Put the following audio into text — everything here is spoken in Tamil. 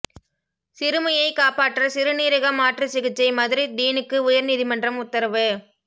சிறுமியை காப்பாற்ற சிறுநீரக மாற்று சிகிச்சை மதுரை டீனுக்கு உயர் நீதிமன்றம் உத்தரவு